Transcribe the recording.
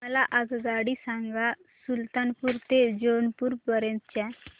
मला आगगाडी सांगा सुलतानपूर ते जौनपुर पर्यंत च्या